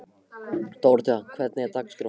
Dóróthea, hvernig er dagskráin?